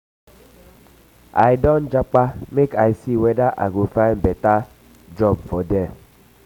i don japa make i see weda i go find beta find beta job for there.